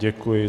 Děkuji.